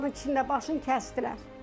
Onların içində başını kəsdilər.